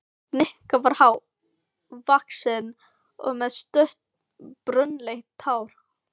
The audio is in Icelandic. Nikki var há- vaxinn og með stutt, brúnleitt hár.